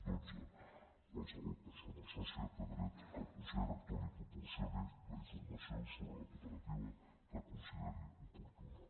dotze qualsevol persona sòcia té dret que el consell rector li proporcioni la informació sobre la cooperativa que consideri oportuna